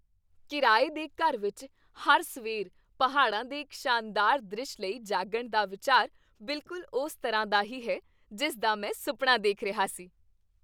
ਕਿਰਾਏ ਦੇ ਘਰ ਵਿੱਚ ਹਰ ਸਵੇਰ ਪਹਾੜਾਂ ਦੇ ਇੱਕ ਸ਼ਾਨਦਾਰ ਦ੍ਰਿਸ਼ ਲਈ ਜਾਗਣ ਦਾ ਵਿਚਾਰ ਬਿਲਕੁਲ ਉਸ ਤਰ੍ਹਾਂ ਦਾ ਹੀ ਹੈ ਜਿਸ ਦਾ ਮੈਂ ਸੁਪਨਾ ਦੇਖ ਰਿਹਾ ਸੀ।